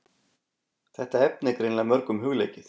Þetta efni er greinilega mörgum hugleikið.